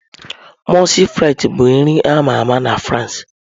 Mọulsị frịts bụ nri ama ama na France.